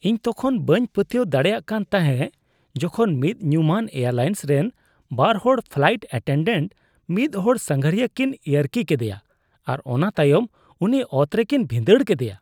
ᱤᱧ ᱛᱚᱠᱷᱚᱱ ᱵᱟᱹᱧ ᱯᱟᱹᱛᱭᱟᱹᱣ ᱫᱟᱲᱮᱭᱟᱜ ᱠᱟᱱ ᱛᱟᱦᱮᱸᱜ ᱡᱠᱷᱚᱱ ᱢᱤᱫ ᱧᱩᱢᱟᱱ ᱮᱨᱟᱞᱟᱭᱮᱱᱥ ᱨᱮᱱ ᱵᱟᱨ ᱦᱚᱲ ᱯᱷᱞᱟᱭᱤᱴ ᱮᱴᱮᱱᱰᱮᱱᱴ ᱢᱤᱫ ᱦᱚᱲ ᱥᱟᱸᱜᱷᱟᱹᱨᱤᱭᱟᱹ ᱠᱤᱱ ᱤᱭᱟᱹᱨᱠᱤ ᱠᱮᱫᱮᱭᱟ ᱟᱨ ᱚᱱᱟ ᱛᱟᱭᱚᱢ ᱩᱱᱤ ᱚᱛᱨᱮᱠᱤᱱ ᱵᱷᱤᱸᱰᱟᱹᱲ ᱠᱮᱫᱮᱭᱟ ᱾